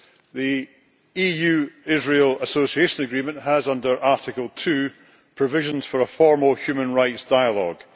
The EU Israel Association Agreement has, under Article 2, provisions for a formal human rights dialogue.